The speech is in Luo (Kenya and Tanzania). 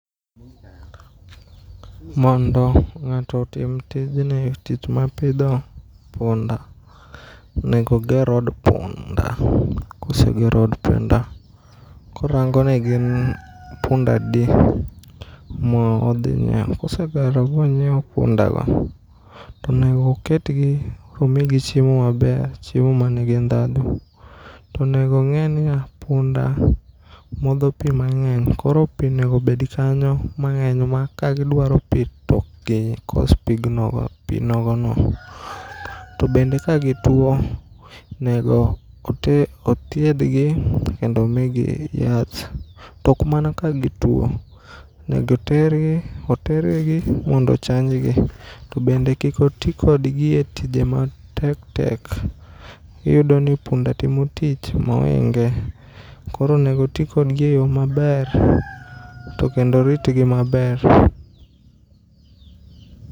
Mondo ng'ato otim tijni, tich ma pidho punda nego oger od punda. Kosegero od punda korangonegi ni punda adi moodhinyieu. Kosegero bonyieo pundago tonego oketgi tomigi chiemo maber. Chiemo manigi ndhadho. Tonegong'enia, punda modho pii mang'eny koro pii nego obed kanyo mang'eny ma kagidwaro pii tokgikos pigno, pii nogono. To bende ka gituo nego ote, othiedhgi kendo omigi yath tok mana ka gituo. Nego otergi mondo ochanjgi to bende kikoti kodgi e tije matektek, iyudoni punda timo tich moinge. Koro onego otii kodgi e yoo maber tokendo oritgi maber.